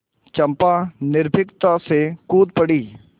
चंपा निर्भीकता से कूद पड़ी